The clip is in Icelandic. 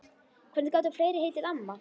Hvernig gátu fleiri heitið amma?